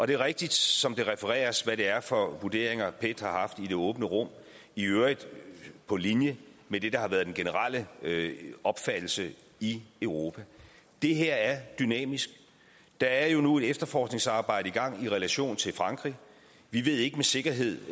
det er rigtigt som det refereres hvad det er for vurderinger pet har haft i det åbne rum i øvrigt på linje med det der har været den generelle opfattelse i europa det her er dynamisk der er nu et efterforskningsarbejde i gang i relation til frankrig vi ved ikke med sikkerhed